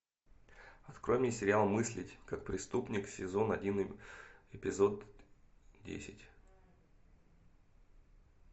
открой мне сериал мыслить как преступник сезон один эпизод десять